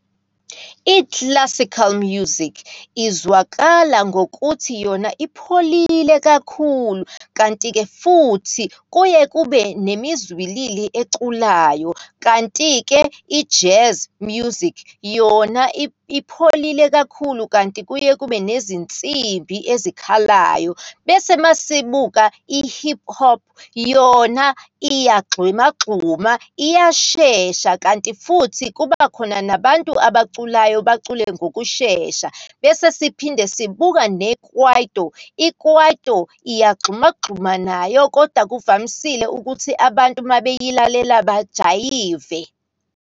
I-classical music izwakala ngokuthi yona ipholile kakhulu, kanti-ke futhi kuye kube nemizwilili eculayo. Kanti-ke i-jazz music yona ipholile kakhulu kanti kuye kube nezinsimbi ezikhalayo. Bese masibuka i-hip hop yona, iyagxumagxuma, iyashesha, kanti futhi kuba khona nabantu abaculayo, bacule ngokushesha. Bese siphinde sibuka nekwaito, ikwaito iyagxumagxuma nayo, kodwa kuvamisile ukuthi abantu uma beyilalela bajayive.